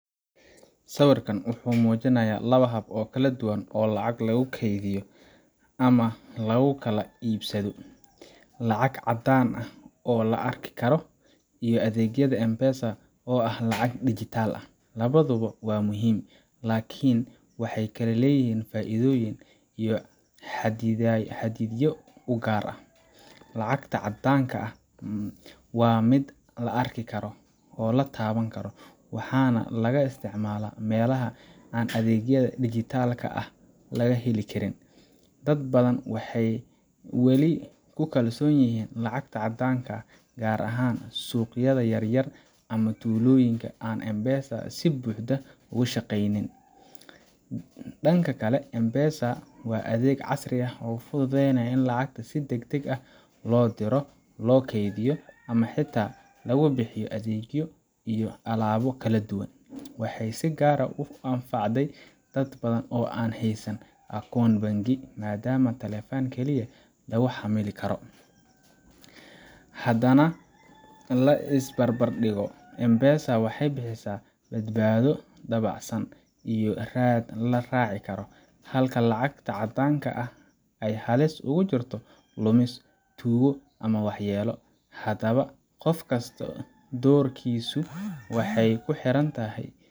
Sawirkan wuxuu muujinayaa laba hab oo kala duwan oo lacag lagu kaydiyo ama lagu kala iibsado: lacag caddaan ah oo la arki karo, iyo adeegyada M-Pesa oo ah lacag digital ah. Labaduba waa muhiim, laakiin waxay kala leeyihiin faa’iidooyin iyo xaddidaadyo u gaar ah. Lacagta caddaanka ah waa mid la arki karo, la taaban karo, waxaana laga isticmaalaa meelaha aan adeegyada digital ka ah laga heli karin. Dad badan waxay wali ku kalsoon yihiin lacagta caddaanka ah, gaar ahaan suuqyada yaryar ama tuulooyinka aan M-Pesa si buuxda uga shaqeyn. Dhanka kale, M-Pesa waa adeeg casri ah oo fududeeyay in lacag si degdeg ah loo diro, loo kaydiyo, ama xitaa lagu bixiyo adeegyo iyo alaabo kala duwan. Waxay si gaar ah u anfacday dad badan oo aan haysan akoon bangi, maadaama taleefan keliya lagu xamili karo. Haddaan la is barbardhigo, M-Pesa waxay bixisaa badbaado, dabacsanaan iyo raad la raaci karo, halka lacagta caddaanka ahi ay halis ugu jirto lumis, tuugo, ama waxyeello. Haddaba, qof kasta doorashadiisu waxay ku xiran tahay.